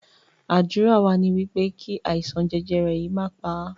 Ádùrá wa ní wípé kí àìsàn jẹjẹrẹ yìí má pà á